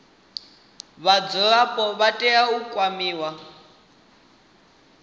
vhadzulapo vha tea u kwamiwa